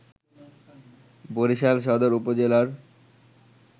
বরিশাল সদর উপজেলার